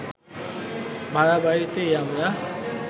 ভাড়াবাড়িতেই আমরা